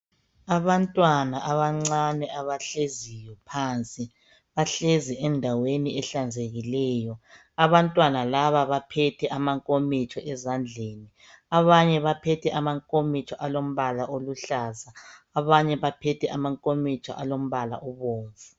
Abantwana abancane abahleziyo phansi. Bahlezi endaweni ehlanzekileyo. Abantwana laba baphethe amakomitsho ezandleni. Abanye baphethe amakomitsho alombala oluhlaza, abanye baphethe amakomitsho alombala obomvu.